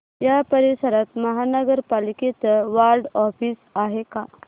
या परिसरात महानगर पालिकेचं वॉर्ड ऑफिस आहे का